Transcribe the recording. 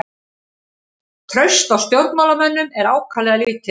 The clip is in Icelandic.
Traust á stjórnmálamönnum er ákaflega lítið